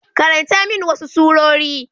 Karanta min wasu surori.